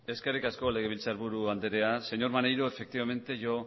eskerrik asko legebiltzarburu andrea señor maneiro efectivamente yo